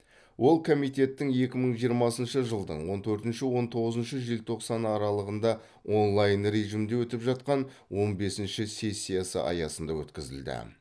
ол комитеттің екі мың жиырмасыншы жылдың он төртінші он тоғызыншы желтоқсан аралығында онлайн режимде өтіп жатқан он бесінші сессиясы аясында өткізілді